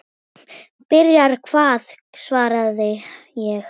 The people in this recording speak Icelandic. Byrja hvað svaraði ég.